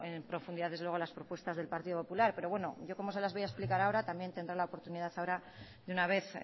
en profundidad las propuestas del partido popular pero bueno yo como se las voy a explicar ahora también tendrá la oportunidad ahora de una vez